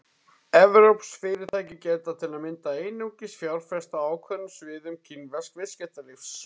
Evrópsk fyrirtæki geta til að mynda einungis fjárfest á ákveðnum sviðum kínversks viðskiptalífs.